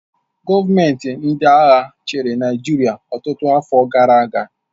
Gọọmenti ndị agha chịrị Naịjirịa ọtụtụ afọ gara aga